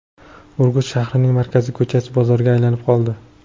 Urgut shahrining markaziy ko‘chasi bozorga aylanib qoldi.